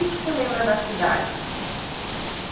E o que você lembra da cidade?